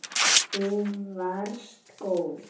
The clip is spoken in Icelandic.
Þú varst góð.